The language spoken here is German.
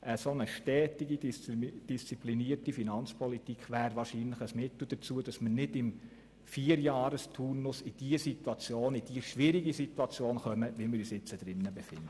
Eine stetige, disziplinierte Finanzpolitik wäre wahrscheinlich ein Mittel dazu, damit wir nicht im Vierjahresturnus in diese schwierige Situation geraten, in der wir uns jetzt befinden.